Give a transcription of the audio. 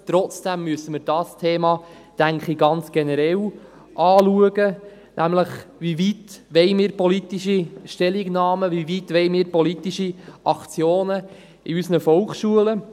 Trotzdem, denke ich, müssen wir dieses Thema ganz generell anschauen, nämlich: Wie weit wollen wir politische Stellungnahmen, wie weit wollen wir politische Aktionen in unseren Volksschulen?